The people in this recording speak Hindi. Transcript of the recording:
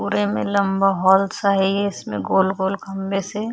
पुरे मे लंबा हॉल सा हैं ये इसमे गोल-गोल खंभे से--